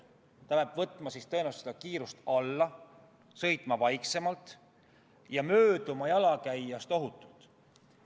Ta peab võtma tõenäoliselt kiirust alla ehk sõitma vaiksemalt ja mööduma jalakäijast ohutult.